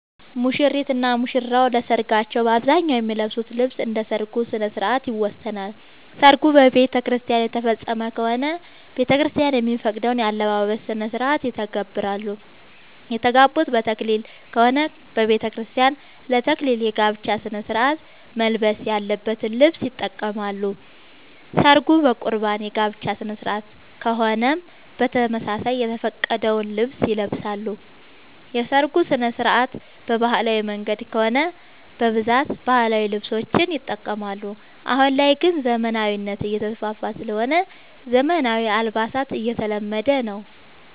ሙሽሪት እና ሙሽራ ለሰርካቸው በአብዛኛው የሚለብሱት ልብስ እንደ ሠርጉ ስነስርዓት ይወሰናል። ሰርጉ በቤተክርስቲያን የተፈፀመ ከሆነ ቤተክርስቲያን የሚፈቅደውን የአለባበስ ስነስርዓት ይተገብራሉ። የተጋቡት በተክሊል ከሆነ በቤተክርስቲያን ለ ተክሊል የጋብቻ ስነስርዓት መልበስ ያለበትን ልብስ ይጠቀማሉ። ሰርጉ በቁርባን የጋብቻ ስነስርዓት ከሆነም በተመሳሳይ የተፈቀደውን ልብስ ይለብሳሉ። የሰርጉ ስነስርዓት በባህላዊ መንገድ ከሆነ በብዛት ባህላዊ ልብሶችን ይጠቀማሉ። አሁን ላይ ግን ዘመናዊነት እየተስፋፋ ስለሆነ ዘመናዊ አልባሳት እየተለመደ ነው።